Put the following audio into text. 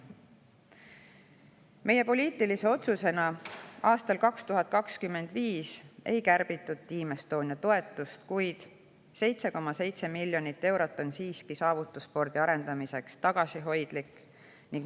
poliitilise otsuse tõttu ei kärbitud aastal 2025 Team Estonia toetust, kuid 7,7 miljonit eurot on saavutusspordi arendamiseks siiski tagasihoidlik summa.